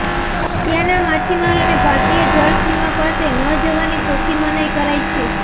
ત્યાંના માછીમારોને ભારતીય જળસીમા પાસે ન જવાની ચોખ્ખી મનાઇ કરાઇ છે